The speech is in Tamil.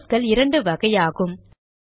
ப்ராசஸ்கள் இரண்டு வகையாகும்